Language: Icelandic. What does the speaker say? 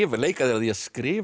leika þér að því að skrifa